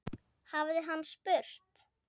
hafði hann spurt.